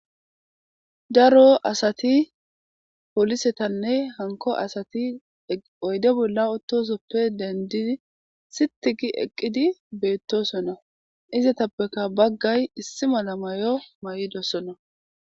Daro asati polisetanne hanko asati oyde bola utosoppe dendidi sitigi eqqidi betosona izetapeka bagay issi mala mayo may'idosona.